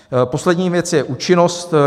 Poslední věc je účinnost.